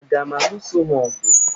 Aga m aluso ha ọgụ?